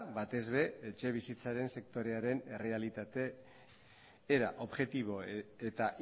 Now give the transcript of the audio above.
batez be etxebizitzaren sektorearen errealitate era objektibo eta